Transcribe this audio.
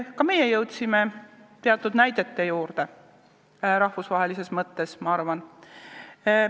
Ka meie jõudsime rahvusvahelises mõttes teatud näidete juurde, ma arvan.